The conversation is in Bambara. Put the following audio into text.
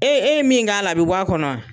E e ye min k'a la a bɛ bɔ a kɔnɔ wa?